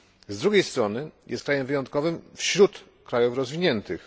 Z drugiej strony jest krajem wyjątkowym wśród krajów rozwiniętych.